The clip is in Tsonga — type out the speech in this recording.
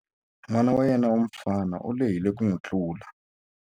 N'wana wa yena wa mufana u lehile ku n'wi tlula.